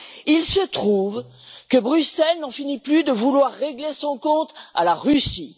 Il se trouve que Bruxelles n'en finit plus de vouloir régler son compte à la Russie.